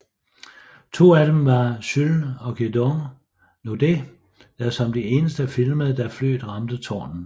To af dem var Jules og Gedeon Naudet der som de eneste filmede da flyet ramte tårnet